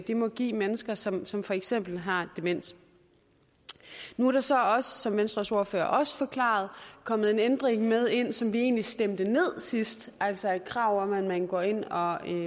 det må give mennesker som som for eksempel har demens nu er der så også som venstres ordfører også forklarede kommet en ændring med ind som vi egentlig stemte ned sidst altså et krav om at man går ind og har en